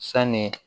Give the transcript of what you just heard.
Sanni